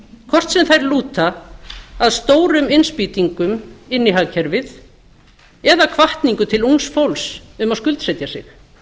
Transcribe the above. hvort sem þær lúta að stórum innspýtingum inn í hagkerfið eða hvatningu til ungs fólks um að skuldsetja sig